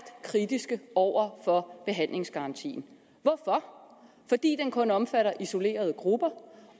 kritiske over for behandlingsgarantien hvorfor fordi den kun omfatter isolerede grupper